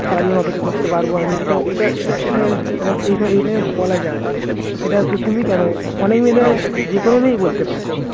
সারাজীবন অপেক্ষা করতে পারবো আমি এটা এটা এটা এটা এটা বলা যায় এটা তো তুমি কেন হইলে যেকোনো মেয়েই বলতে পারে